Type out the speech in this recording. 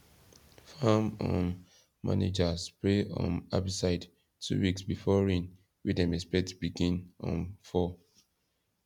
farm um manager spray um herbicide two weeks before rain wey dem expect begin um fall